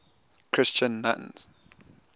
christian nuns